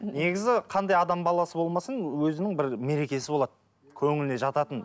негізі қандай адам баласы болмасын өзінің бір мерекесі болады көңіліне жататын